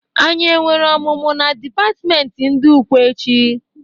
Anyị e nwere ọmụmụ na dipatmenti ndị Ụkwe echi?